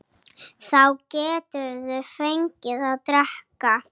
Þá geturðu fengið að drekka.